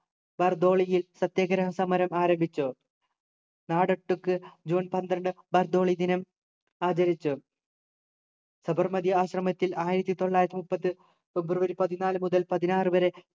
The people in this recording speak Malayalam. ബാർദോളിയിൽ സത്യാഗ്രഹസമരം ആരംഭിച്ചു നാടൊട്ടുക്ക് ജൂൺ പന്ത്രണ്ടു ബാർദോളി ദിനം ആചരിച്ചു സബർമതി ആശ്രമത്തിൽ ആയിരത്തി തൊള്ളായിരത്തി മുപ്പത് ഫെബ്രുവരി പതിനാലു മുതൽ പതിനാറു വരെ